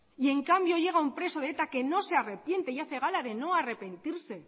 y en cambio llega un preso de eta que no se arrepiente y hace gala de no arrepentirse